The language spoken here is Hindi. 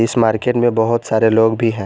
इस मार्केट में बहुत सारे लोग भी हैं।